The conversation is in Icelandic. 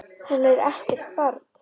Hún er ekkert barn.